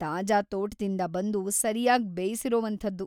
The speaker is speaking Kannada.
ತಾಜಾ ತೋಟದಿಂದ ಬಂದು ಸರಿಯಾಗ್‌ ಬೇಯ್ಸಿರೊವಂಥದ್ದು.